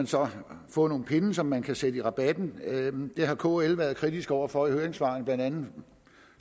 så kan få nogle pinde som man kan sætte i rabatten det har kl været kritiske over for i høringssvarene blandt andet